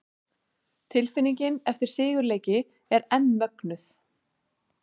Tilfinningin eftir sigurleiki er enn mögnuð!